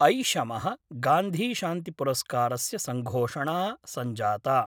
ऐषम: गान्धीशान्तिपुरस्कारस्य संघोषणा संजाता।